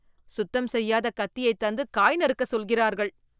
சுத்தம் செய்யாத கத்தியைத் தந்து காய் நறுக்க சொல்கிறர்கள்